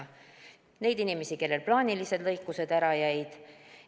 neid inimesi, kellel plaanilised lõikused ära jäid.